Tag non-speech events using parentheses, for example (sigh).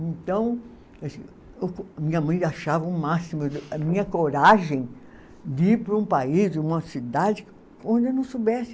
Então, (unintelligible) minha mãe achava o máximo, a minha coragem de ir para um país, uma cidade onde eu não soubesse